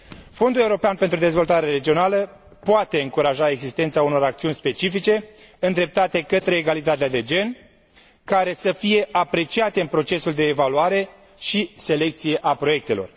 Fondul European pentru Dezvoltare Regională poate încuraja existența unor acțiuni specifice, îndreptate către egalitatea de gen, care să fie apreciate în procesul de evaluare și selecție a proiectelor.